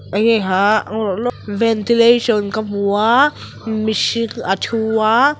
eng nge khah ventilation ka hmu a mihring a thu a.